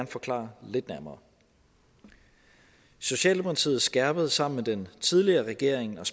forklare lidt nærmere socialdemokratiet skærpede sammen med den tidligere regering og